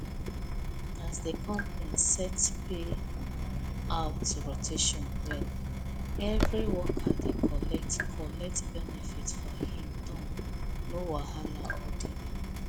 as the company set payout rotation well every worker dey collect collect benefit for him turn no wahala or delay